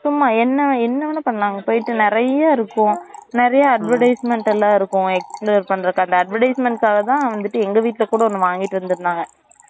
சும்மா என்ன என்ன வேணாலும் பண்லாம் அங்க போட்டு நெறைய்யா இருக்கும் நெறையா advertisement லாம் இருக்கும் explore பண்றதுக்கு அந்த advertisement க்காக தான் வந்துட்டு எங்க வீட்டுல கூட ஒன்னு வாங்கிட்டு வந்திருந்தாங்க